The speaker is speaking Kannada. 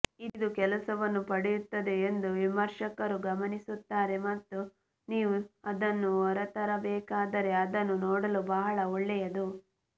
ಇದು ಕೆಲಸವನ್ನು ಪಡೆಯುತ್ತದೆ ಎಂದು ವಿಮರ್ಶಕರು ಗಮನಿಸುತ್ತಾರೆ ಮತ್ತು ನೀವು ಅದನ್ನು ಹೊರತರಬೇಕಾದರೆ ಅದನ್ನು ನೋಡಲು ಬಹಳ ಒಳ್ಳೆಯದು